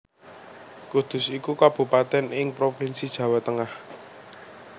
Kudus iku kabupatèn ing Provinsi Jawa Tengah